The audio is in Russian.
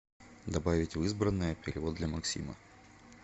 добавить в избранное перевод для максима